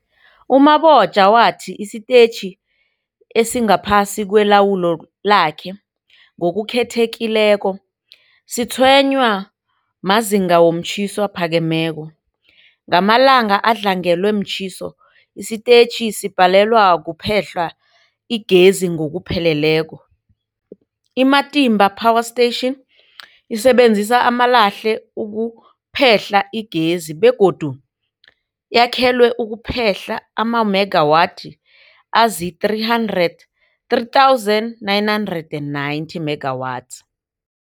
U-Mabotja wathi isitetjhi esingaphasi kwelawulo lakhe, ngokukhethekileko, sitshwenywa mazinga womtjhiso aphakemeko. Ngamalanga adlangelwe mtjhiso, isitetjhi sibhalelwa kuphehla igezi ngokupheleleko. I-Matimba Power Station isebenzisa amalahle ukuphehla igezi begodu yakhelwe ukuphehla amamegawathi azii-300 3990 megawatts.